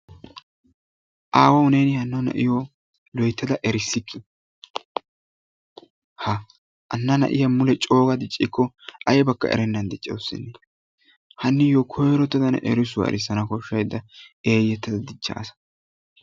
awaawu neeni hanno na'iyoo loyttada erisikkii! ha hanna na'iyaa coogada diicciko aybakka erennan diccawustene. hanniyoo koyrottada ne eriisuwaa erissana koshshayda eeyyettada diichchadasa.